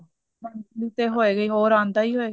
ਹਾਂਜੀ ਆਂਦਾ ਹੀ ਹੋਏਗਾ ਹੋਰ ਆਂਦਾ ਹੀ ਹੋਏਗਾ